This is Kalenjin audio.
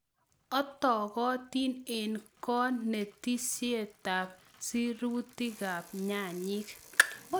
Otogotin en konetisietab sirutikab nyanyik.